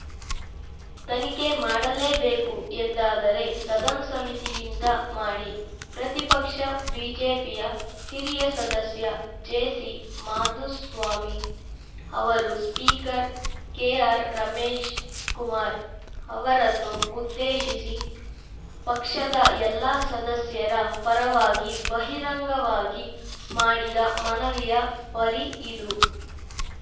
ತನಿಖೆ ಮಾಡಲೇಬೇಕು ಎಂದಾದರೆ ಸದನ ಸಮಿತಿಯಿಂದ ಮಾಡಿ ಪ್ರತಿಪಕ್ಷ ಬಿಜೆಪಿಯ ಹಿರಿಯ ಸದಸ್ಯ ಜೆಸಿಮಾಧುಸ್ವಾಮಿ ಅವರು ಸ್ಪೀಕರ್‌ ಕೆಆರ್‌ರಮೇಶ್‌ಕುಮಾರ್‌ ಅವರನ್ನು ಉದ್ದೇಶಿಸಿ ಪಕ್ಷದ ಎಲ್ಲ ಸದಸ್ಯರ ಪರವಾಗಿ ಬಹಿರಂಗವಾಗಿ ಮಾಡಿದ ಮನವಿಯ ಪರಿ ಇದು